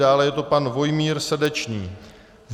Dále je to pan Vojmír Srdečný.